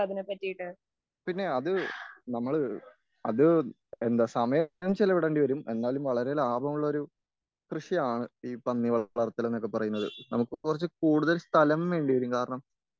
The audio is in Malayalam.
പിന്നെ അത് നമ്മള് അത് എന്ത സമയം ചിലവിടേണ്ടി വരും എന്നാലും വളരെ ലാഭമുള്ള ഒരു കൃഷിയാണ്.ഈ പന്നി വളർത്തൽ എന്ന് പറയുന്നത്.നമുക്ക് കുറച്ച് കൂടുതൽ സ്ഥലം വേണ്ടി വരും.കാരണം